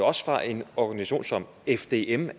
også fra en organisation som fdm